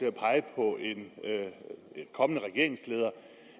at pege på en kommende regeringsleder